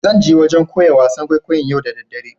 Zan je wajen koya wasan kwaikwayo'n yau da dare.